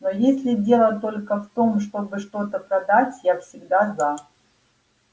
но если дело только в том чтобы что-то продать я всегда за